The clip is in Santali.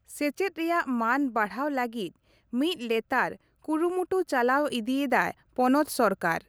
ᱥᱮᱪᱮᱫ ᱨᱮᱭᱟᱜ ᱢᱟᱹᱱ ᱵᱟᱲᱦᱟᱣ ᱞᱟᱹᱜᱤᱫ ᱢᱤᱫ ᱞᱮᱛᱟᱲ ᱠᱩᱨᱩᱢᱩᱴᱩ ᱪᱟᱞᱟᱣ ᱤᱫᱤᱭᱮᱫᱟ ᱯᱚᱱᱚᱛ ᱥᱚᱨᱠᱟᱨ ᱾